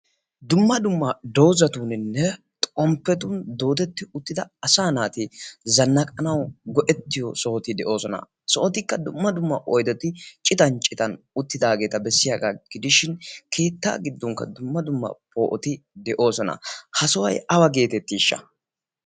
dumma dumma doozatuuninne xomppetun doodetti uttida asa naati zannaqanau go'ettiyo sohoti de'oosona. sohotikka dumma dumma oydoti citan citan uttidaageeta bessiyaagaa gidishin keettaa giddunkka dumma dumma poo'oti de'oosona ha sohuwai awa geetettiishsha?